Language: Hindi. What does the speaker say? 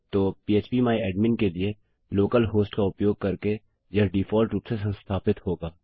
तो पह्प माय एडमिन के लिए लोकल हॉस्ट का उपयोग करके यह डिफॉल्ट रूप से संस्थापित होगा